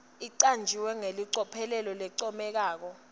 icanjwe ngelicophelo lelincomekako